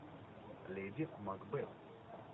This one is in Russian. леди макбет